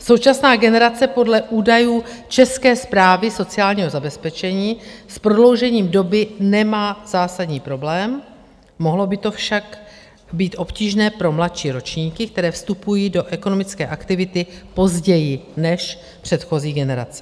Současná generace podle údajů České správy sociálního zabezpečení s prodloužením doby nemá zásadní problém, mohlo by to však být obtížné pro mladší ročníky, které vstupují do ekonomické aktivity později než předchozí generace.